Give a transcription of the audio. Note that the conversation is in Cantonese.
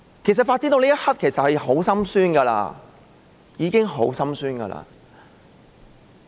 事情發展到這一刻，其實已經令人很心酸。